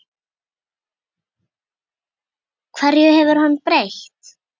Hverju hefur hann breytt?